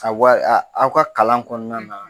aw ka kalan kɔnɔna na